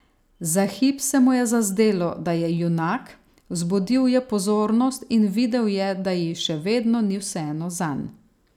Za hip se mu je zazdelo, da je junak, vzbudil je pozornost in videl je, da ji še vedno ni vseeno zanj.